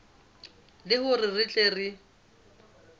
le hore re tle re